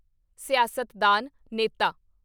ਸਿਆਸਤਦਾਨ (ਨੇਤਾ)